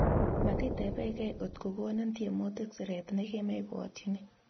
Matitepekei otko konin tiemutik siret ne kemebwotyini